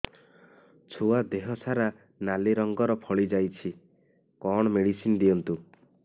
ଛୁଆ ଦେହ ସାରା ନାଲି ରଙ୍ଗର ଫଳି ଯାଇଛି କଣ ମେଡିସିନ ଦିଅନ୍ତୁ